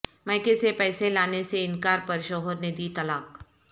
میکے سے پیسے لانے سے انکار پر شوہر نے دی طلاق